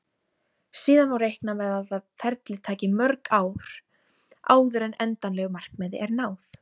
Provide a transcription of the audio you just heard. Síðan má reikna með að ferlið taki mörg ár áður en endanlegu markmiði er náð.